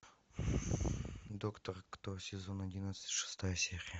доктор кто сезон одиннадцать шестая серия